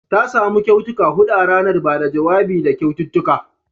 Ta samu kyautuka hudu a ranar ba da jawabi da kyaututtuka